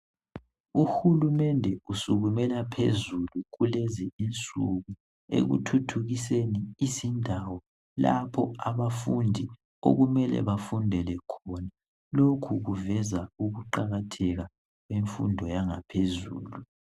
Uhulumende usukumela phezulu kulezi insuku ekuthuthukiseni izindawo lapho abafundi okumele bafundele khona .Lokhu kuveza ukuqakatheka kwemfundo yangaphezulu.